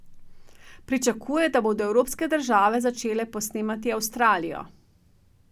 Pričakuje, da bodo evropske države začele posnemati Avstralijo.